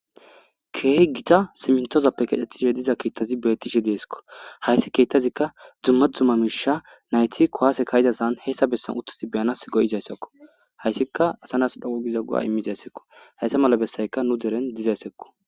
Keeh gita simintozappe kexxettishe diza kiettazi bettishe deesko hayssi kiettazikka dzumma dzumma miisha nayti kowaase kayidasan heessa bessan uttasi beyanas go'izayssakko hayssikka asanas dhogogiza gu'a immizaysekko hayssa mala bessayka nu deren dizaysekko.